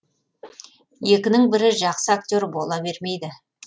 екінің бірі жақсы актер бола бермейді